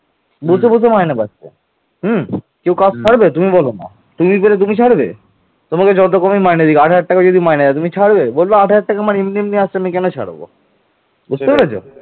ধননন্দের সময় রাজ্যে ব্যাপক অর্থনৈতিক সমৃদ্ধি দেখা দেয়